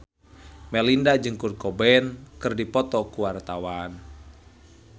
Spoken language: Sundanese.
Melinda jeung Kurt Cobain keur dipoto ku wartawan